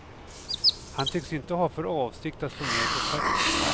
Han tycks inte ha för avsikt att slå ner på takten.